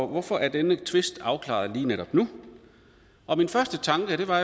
hvorfor er denne tvist blevet afklaret lige netop nu min første tanke var